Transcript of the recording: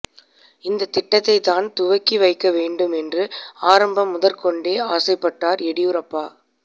இந்த திட்டத்தை தான் துவக்கி வைக்க வேண்டும் என்று ஆரம்பம் முதற்கொண்டே ஆசைப்பட்டார் எடியூரப்பா